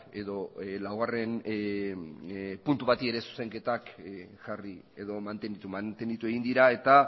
mantendu egin dira eta